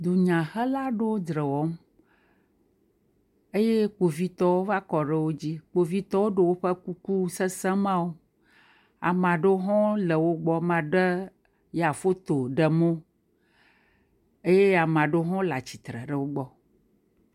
dunyahela'ɖewo dzrewɔm eye kpovitɔwo va kɔ ɖe wó dzi kpovitɔwo ɖó wóƒe kuku sese mawo amaɖewo hɔ̃ le wógbɔ maɖe ya foto ɖem o eye amaɖewo howo le atsitsre le wógbɔ